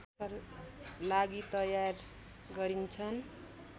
लागि तयार गरिन्छन्